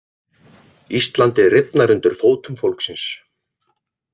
Íslandið rifnar undir fótum fólksins